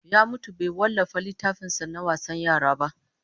Ya mutu bai wallafa littafin sa na wasan yara ba